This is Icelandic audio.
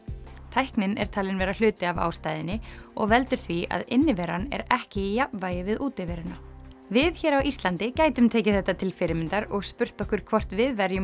tæknin er talin vera hluti af ástæðunni og veldur því að inniveran er ekki í jafnvægi við útiveruna við hér á Íslandi gætum tekið þetta til fyrirmyndar og spurt okkur hvort við verjum